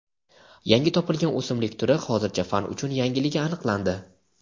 yangi topilgan o‘simlik turi hozircha fan uchun yangiligi aniqlandi.